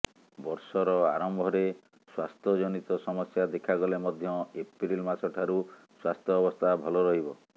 ବର୍ଷର ଆରମ୍ଭରେ ସ୍ୱାସ୍ଥ୍ୟ ଜନିତ ସମସ୍ୟା ଦେଖାଗଲେ ମଧ୍ୟ ଏପ୍ରିଲ ମାସ ଠାରୁ ସ୍ୱାସ୍ଥ୍ୟ ଅବସ୍ଥା ଭଲ ରହିବ